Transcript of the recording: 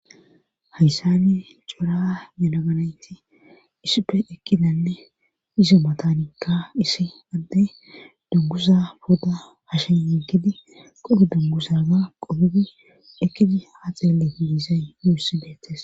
hayssani cora yanaganayti isippe ekkidanne iso matanikka isi adde dungusa pooda hasheyekidi qodu dungusaza qodudi ekkidi haa xeele diisay yuussi deettes